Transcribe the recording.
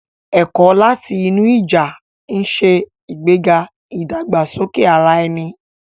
Ẹ̀kọ́ láti inú ìjà ń ṣe ìgbéga ìdàgbàsókè ara ẹni.